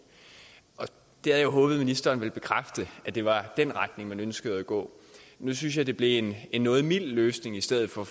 jeg havde håbet at ministeren ville bekræfte at det var i den retning man ønskede at gå nu synes jeg det blev en noget mild løsning i stedet for